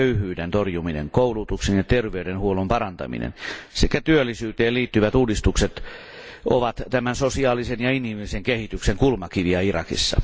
Köyhyyden torjuminen, koulutuksen ja terveydenhuollon parantaminen sekä työllisyyteen liittyvät uudistukset ovat tämän sosiaalisen ja inhimillisen kehityksen kulmakiviä Irakissa.